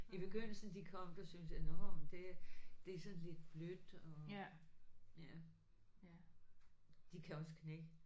De begyndelsen de kom der syntes nåh men det det sådan lidt blødt og de kan også knække